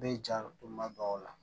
Bɛ ja don ma dɔw la